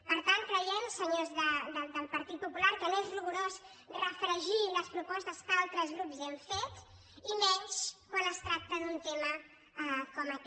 per tant creiem senyors del partit popular que no és rigorós refregir les propostes que altres grups hem fet i menys quan es tracta d’un tema com aquest